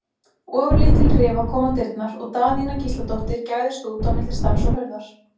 Ofurlítil rifa kom á dyrnar og Daðína Gísladóttir gægðist út á milli stafs og hurðar.